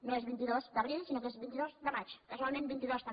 no és vint dos d’abril sinó que és vint dos de maig casualment vint dos també